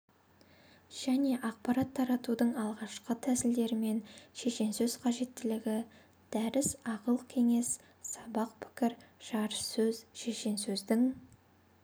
және ақпарат таратудың алғашқы тәсілдері және шешенсөз қажеттілігі дәріс ақыл кеңес сабақ пікір жарыссөз шешенсөздің